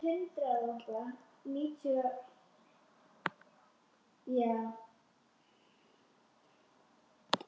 Nei, það gekk ekki.